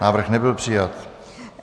Návrh nebyl přijat.